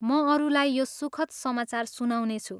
म अरूलाई यो सुखद समाचार सुनाउनेछु!